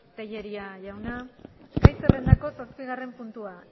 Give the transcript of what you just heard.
tellería jauna gai zerrendako zazpigarren puntua